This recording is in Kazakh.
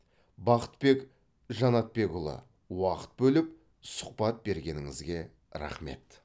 бақытбек жанатбекұлы уақыт бөліп сұхбат бергеніңізге рахмет